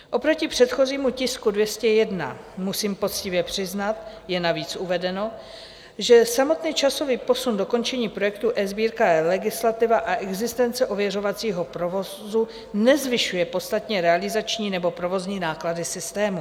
Oproti předchozímu tisku 201 musím poctivě přiznat, je navíc uvedeno, že samotný časový posun dokončení projektu eSbírka a eLegislativa a existence ověřovacího provozu nezvyšuje podstatně realizační nebo provozní náklady systému.